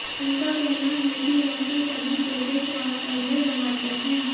उनका कहना है कि उनके सभी प्रोजेक्ट वास्तव में रोमांचक हैं